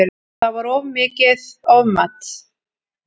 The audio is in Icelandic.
Það var mikið ofmat